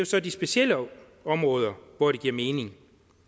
så de specielle områder hvor det giver mening